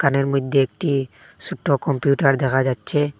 দোকানের মধ্যে একটি সোট্ট কম্পিউটার দেখা যাচ্ছে।